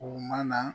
U mana